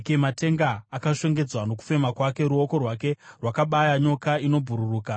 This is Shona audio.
Matenga akashongedzwa nokufema kwake; ruoko rwake rwakabaya nyoka inobhururuka.